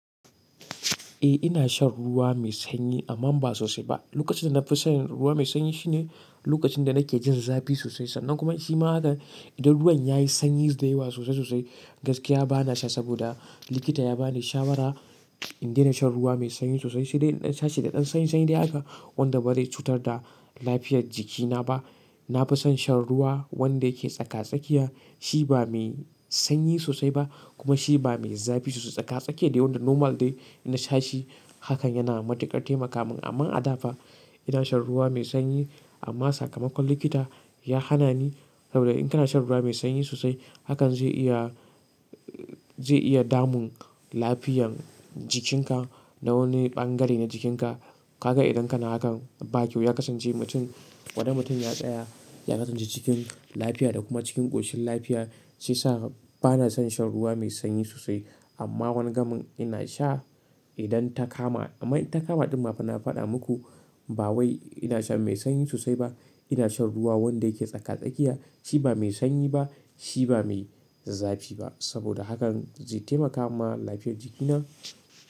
Eh ina shan ruwa mai sanyi amma ba sosai ba. Lokacin da na fi shan ruwa mai sanyi shine lokacin da nake jin zafi sosai. Sannan kuma shima hakan idan ruwan ya yi sanyi da yawa sosai sosai gaskiya ba na sha saboda likita ya bani shawara in daina shan ruwa mai sanyi sosai. Sai dai in sha shi da ɗan sanyi sanyi dai haka wanda ba zai cutar da lafiyar jikina ba. Na fi son shan ruwa wanda yake tsaka-tsakiya. Shi ba mai sanyi sosai ba kuma shi ba mai zafi sosai ba tsaka-tsakiya de wanda normal de. Ina sha shi hakan yana matuƙar taimaka min amma a da fa. Ina shan ruwa mai sanyi amma sakamakon likita ya hana ni saboda in kana shan ruwa mai sanyi sosai hakan zai iya, zai iya damun lafiyan jikinka na wani bangare na jikinka. Kaga idan kana hakan ba kyau ya kasance mutum, gwanda mutum ya tsaya, ya kasance cikin lafiya da kuma cikin ƙoshin lafiya shiyasa ba na son shan ruwa mai sanyi sosai. Amma wani gamin ina sha idan ta kama amma it ta kama ɗunma fa na faɗa muku ba wai ina shan mai sanyi sosai ba. Ina shan ruwa wanda yake tsaka-tsakiya. Shi ba mai sanyi ba, shi ba mai zafi ba saboda hakan zai taimaka ma lafiyar jikina.